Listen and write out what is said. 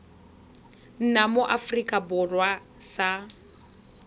nna mo aforika borwa sa